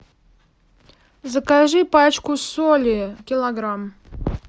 закажи пачку соли килограмм